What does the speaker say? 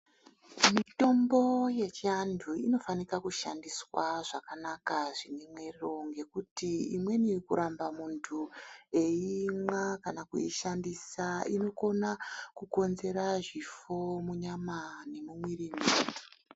Mitombo yechiantu inofanika kushandiswa zvakanaka zvimemwero. Ngekuti umweni kuramba muntu eimwa kana kuishandisa inokona kukonzera zvifo munyama nemumwiri memuntu.